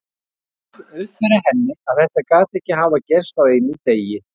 Og það rann upp fyrir henni að þetta gat ekki hafa gerst á einum degi.